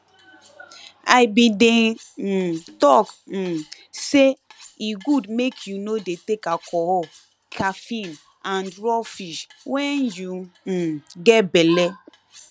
i been de um talk um say e good make you no de take alcohol caffeine and raw fish when you um get belle